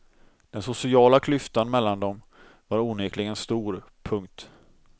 Den sociala klyftan mellan dem var onekligen stor. punkt